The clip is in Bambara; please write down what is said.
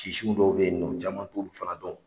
dɔw bɛ yen nɔ caman t'o fana dɔn.